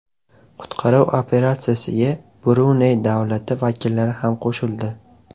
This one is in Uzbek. Qutqaruv operatsiyasiga Bruney davlati vakillari ham qo‘shildi.